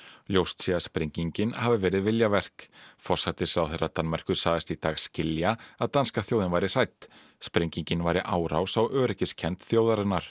ljóst sé að sprengingin hafi verið viljaverk forsætisráðherra Danmerkur sagðist í dag skilja að danska þjóðin væri hrædd sprengingin væri árás á öryggiskennd þjóðarinnar